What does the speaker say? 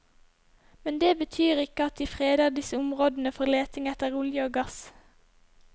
Men det betyr ikke at de freder disse områdene for leting etter olje og gass.